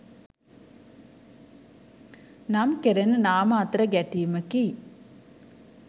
නම් කෙරෙන නාම අතර ගැටීමකි